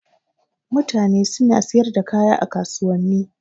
Mutane suna siyar da kaya a kasuwanni.